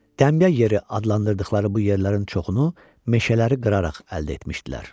Təmyə yeri adlandırdıqları bu yerlərin çoxunu meşələri qıraraq əldə etmişdilər.